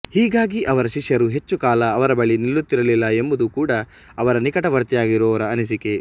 ಹೀಗಾಗಿ ಅವರ ಶಿಷ್ಯರು ಹೆಚ್ಚು ಕಾಲ ಅವರ ಬಳಿ ನಿಲ್ಲುತ್ತಿರಲಿಲ್ಲ ಎಂಬುದು ಕೂಡಾ ಅವರ ನಿಕಟವರ್ತಿಯಾಗಿರುವವರ ಅನಿಸಿಕೆ